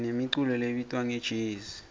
sinemiculo lebitwa ngejezi